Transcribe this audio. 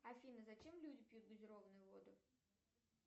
афина зачем люди пьют газированную воду